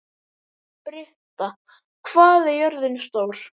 Britta, hvað er jörðin stór?